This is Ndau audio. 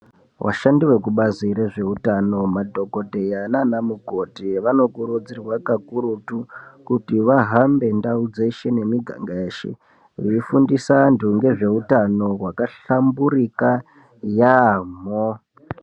Vashandi vekubazi rezveutano madhokodheya nanamukoti vanokurudzirwa kakurutu kuti vahambe ndau dzeshe nemiganga yeshe veifundisa antu ngezveutano hwakahlamburika yaamho.